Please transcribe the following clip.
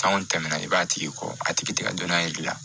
Sanko tɛmɛna i b'a tigi kɔ a tigi tɛgɛ don n'a yir'i la